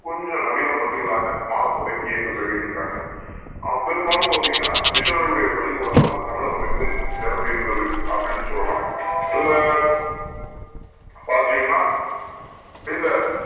கொஞ்சம் நவீன பள்ளிகளாக மாறத் தொடங்க பெரும்பாலும் பார்த்தீங்கன்னா மிஷினரிகள் உடைய பள்ளிக்கூடங்கள் தான் தமிழகம் எங்கும் நிறைந்து இருக்குதுன்னு சொல்லலாம் இதுல பாத்தீங்கன்னா இந்த